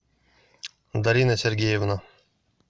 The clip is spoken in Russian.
дарина сергеевна